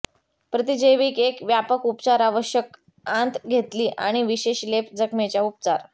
प्रतिजैविक एक व्यापक उपचार आवश्यक आंत घेतली आणि विशेष लेप जखमेच्या उपचार